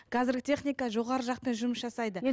қазіргі техника жоғары жақпен жұмыс жасайды